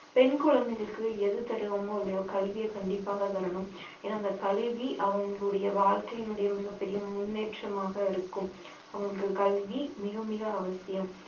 பெண் குழந்தைகளுக்கு எது தர்றோமோ இல்லையோ கல்விய கண்டிப்பாக தரணும் ஏன்னா அந்த கல்வி அவங்களுடைய வாழ்க்கையினுடைய மிகப் பெரிய முன்னேற்றமாக இருக்கும் அவங்களுக்கு கல்வி மிக மிக அவசியம்